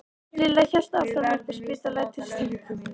Lilla hélt áfram upp á spítala til Stínu gömlu.